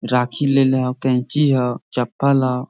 राखी लेलिओ कैंची ह चपल ह।